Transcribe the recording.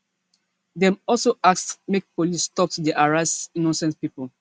dem also ask make police stop to dey harass innocent pipo